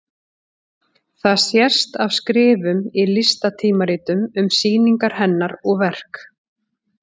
Það sést af skrifum í listatímaritum um sýningar hennar og verk.